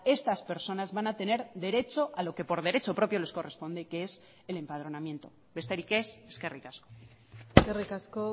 estas personas van a tener derecho a lo que por derecho propio les corresponde que es el empadronamiento besterik ez eskerrik asko eskerrik asko